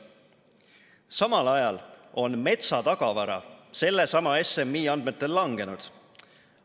Samal ajal on metsatagavara sellesama SMI andmetel langenud.